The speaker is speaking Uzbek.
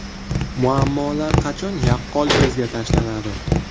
Muammolar qachon yaqqol ko‘zga tashlanadi?